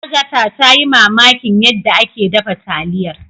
Agatha ta yi mamakin yadda ake dafa taliyar.